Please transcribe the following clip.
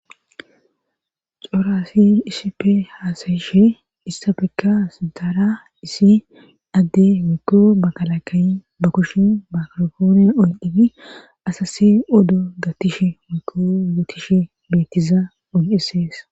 xora assiy isipe haasayishe issapekka sdaara isi adde wekko bakalakayy ba kushin makrofoone oy ibi asasi oddo gatishe wekko gatishe beettiza ogebes